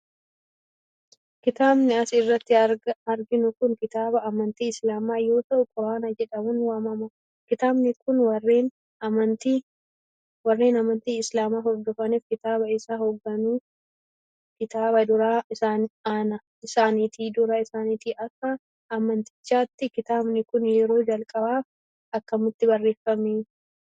Kitaabni as irratti arginu kun, kitaaba amantii islaamaa yoo ta'u quraana jedhamuun waamama. Kitaabni kun, warreen amantii islaamaa hordofaniif kitaaba isaan hoogganu kitaaba duraa isaaniti. Akka amantichaatti kitaabni kun ,yeroo jalqabaaf akkamitti barreeffame?